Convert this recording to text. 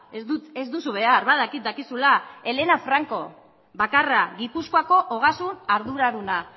ez duzu behar badakit dakizula elena franco gipuzkoako foru ogasun arduraduna